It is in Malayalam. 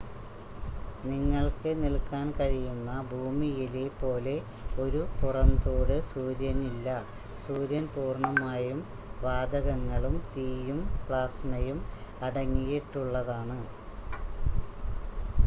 നിങ്ങൾക്ക് നിൽക്കാൻ കഴിയുന്ന ഭൂമിയിലെ പോലെ ഒരു പുറംതോട് സൂര്യനില്ല സൂര്യൻ പൂർണ്ണമായും വാതകങ്ങളും തീയും പ്ലാസ്മയും അടങ്ങിയിട്ടുള്ളതാണ്